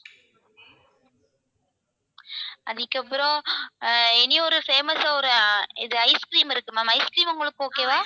அதுக்கப்புறம் அஹ் இனி ஒரு famous ஆ ஒரு இது ice cream இருக்கு ma'am ice cream உங்களுக்கு okay வா?